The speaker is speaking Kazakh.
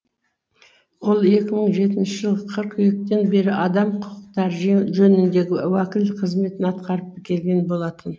ол екі мың жетінші жылғы қыркүйектен бері адам құқықтары жөніндегі уәкіл қызметін атқарып келген болатын